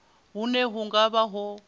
hune hu nga vha ho